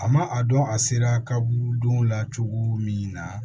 A ma a dɔn a sera kaburudon la cogo min na